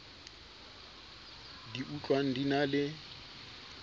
di utlwang di na le